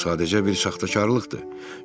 Bu sadəcə bir saxtakarlıqdır.